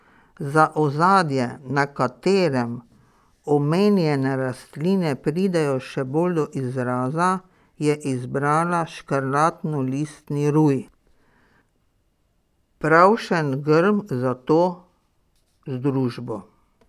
Za ozadje, na katerem omenjene rastline pridejo še bolj do izraza, je izbrala škrlatnolistni ruj, pravšen grm za to združbo.